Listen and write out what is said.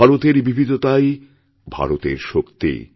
ভারতের বিবিধতাই ভারতের শক্তি